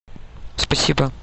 спасибо